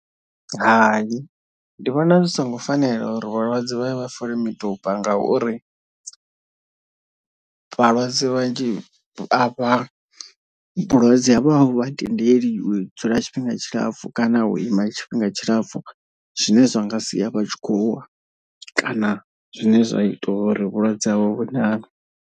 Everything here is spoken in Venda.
Hai ndi vhona zwi songo fanela uri vhalwadze vha ye vha fole miduba ngauri . Vhalwadze vhanzhi a vha vhulwadze havho a vhu vha tendeliwi u dzula tshifhinga tshilapfhu kana u ima tshifhinga tshilapfu. Zwine zwa nga sia vha tshi khou wa kana zwine zwa ita uri vhulwadze havho vhuṋaṋe.